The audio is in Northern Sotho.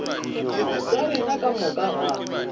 tša rena ka moka ga